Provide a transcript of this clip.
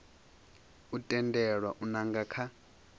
u tendelwa u nanga kha